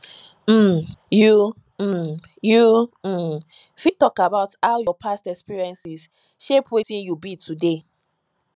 um you um you um fit talk about how your past experiences shape wetin you be today